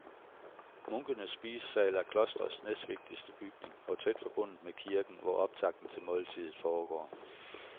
Munkenes spisesal er klostrets næstvigtigste bygning og tæt forbundet med kirken, hvor optakten til måltidet foregår.